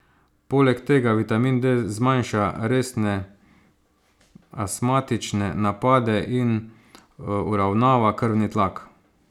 Poleg tega vitamin D zmanjša resne astmatične napade in uravnava krvni tlak.